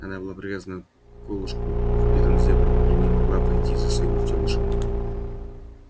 она была привязана к колышку вбитому в землю и не могла пойти за своим детёнышем